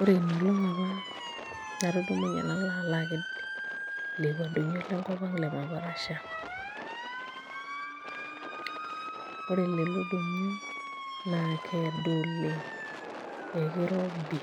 Ore ina olong' apa anatudumunye nalo alo aked lekua doinyio lenkop ang' le maparasha ore lelo doinyio naa keedo oleng' ekirobi